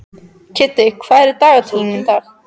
Kiddi, hvað er í dagatalinu mínu í dag?